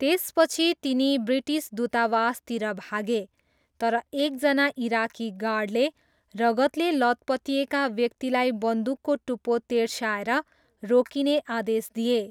त्यसपछि तिनी ब्रिटिस दूतावासतिर भागे तर एकजना इराकी गार्डले रगतले लतपतिएका व्यक्तिलाई बन्दुकको टुप्पो तेर्स्याएर रोकिने आदेश दिए।